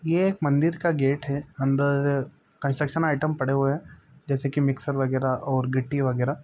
ये एक मंदिर का गेट है अंदर कंस्ट्रक्शन आइटम पड़े हुए है जैसे मिक्सचर वगेरा और गीट्टी वगेरा।